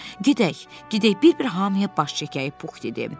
Gedək, gedək bir-bir hamıya baş çəkək, Pux dedi.